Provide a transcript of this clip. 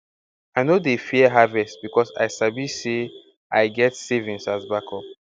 i no dey fear harvest becos i sabi say i get savings as backup